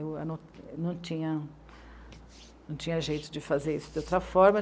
Eu não tinha, não tinha jeito de fazer isso de outra forma.